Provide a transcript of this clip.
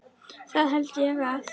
Það held ég að.